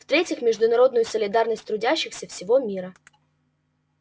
в третьих международную солидарность трудящихся всего мира